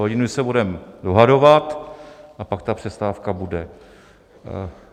Hodinu se budeme dohadovat a pak ta přestávka bude.